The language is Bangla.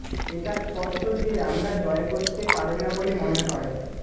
এটা স্পষ্ট যে আমরা জয় করতে পারে না বলে মনে হয়